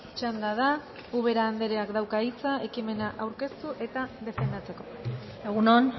txanda da ubera andreak dauka hitza ekimena aurkeztu eta defendatzeko egun on